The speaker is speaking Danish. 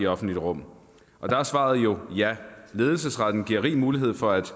offentlige rum og der er svaret jo ja ledelsesretten giver rig mulighed for at